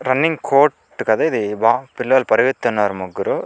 Running coat కదా ఇది wow పిల్లలు పరిగెత్తుతున్నారు ముగ్గురు.